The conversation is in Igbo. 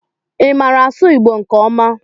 Ị maara asụ Igbo nke ọma?